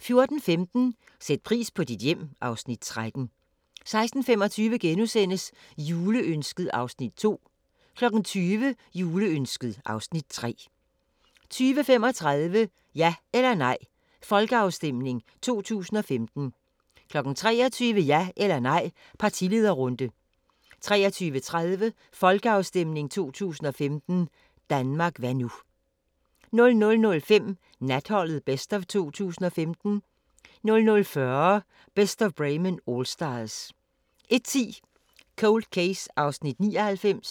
14:15: Sæt pris på dit hjem (Afs. 13) 16:25: Juleønsket (Afs. 2)* 20:00: Juleønsket (Afs. 3) 20:35: Ja eller nej – folkeafstemning 2015 23:00: Ja eller nej – partilederrunde 23:30: Folkeafstemning 2015 – Danmark hva' nu? 00:05: Natholdet Best of 2015 00:40: Best of Bremen Allstars 01:10: Cold Case (99:156)